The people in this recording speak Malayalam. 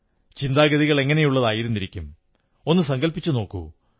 ചിന്താഗതികൾ എങ്ങനെയായിരുന്നിരിക്കും ഒന്നു സങ്കല്പിച്ചുനോക്കൂ